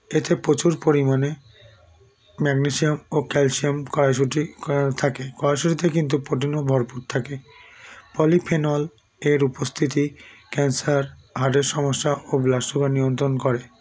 এতে প্রচুর পরিমাণে magnesium ও calcium কড়াইশুটি থাকে কড়াইশুটিতে কিন্তু protein ও ভরপুর থাকে polyphenol -এর উপস্থিতি cancer heart -এর সমস্যা ও blood sugar নিয়ন্ত্রণ করে